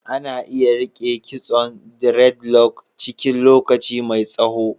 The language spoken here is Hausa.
Ana iya rike kitson diredlok cikin lokaci mai tsaho.